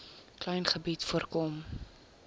klein gebied voorkom